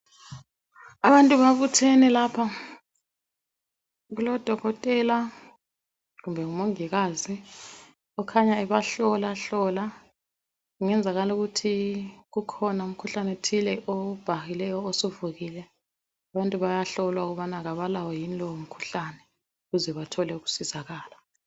Abantu babuthene lapha kulodokotela kumbe ngumongikazi ohlola hlola kungenzakala ukuthi kukhona umkhuhlane othile obhahile osuvukile abantu bayahlolwaukubana abalawo yini lowo mukhuhlane ukuze bathole ukusizakala